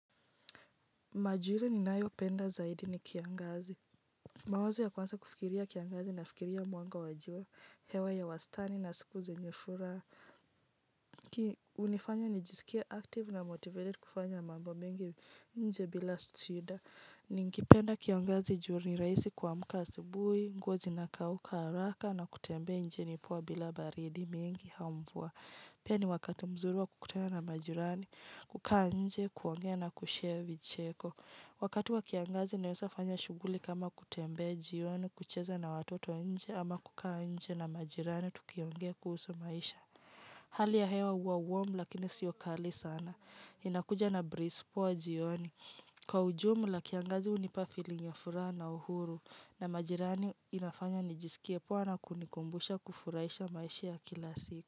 Majira ninayopenda zaidi ni kiangazi, mawazo ya kwanza kufikiria kiangazi nafikiria mwanga wa jua, hewa ya wastani na siku zenye furaha. Hunifanya nijisikie active na motivated kufanya mambo mengi nje bila shida. Ningependa kiangazi juu ni rahisi kuamka asubuhi, nguo zinakauka, haraka na kutembea nje ni poa bila baridi mingi au mvua. Pia ni wakati mzuri wa kukutana na majirani, kukaa nje, kuongea na kushare vicheko. Wakati wa kiangazi nawezafanya shughuli kama kutembea jioni kucheza na watoto nje ama kukaa nje na majirani tukiongea kuhusu maisha. Hali ya hewa huwa warm lakini siyo kali sana inakuja na breeze poa jioni. Kwa ujumla kiangazi hunipa feeling ya furaha na uhuru na majirani inafanya nijisikie poa na kunikumbusha kufurahisha maisha ya kila siku.